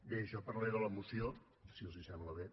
bé jo parlaré de la moció si els sembla bé